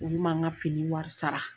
Olu ma n ka fini wari sara